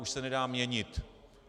Už se nedá měnit.